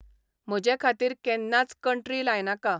म्हजेखातीर केन्नाच कंट्री लायनाका